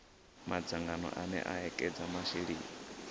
madzangano ane a ekedza masheleni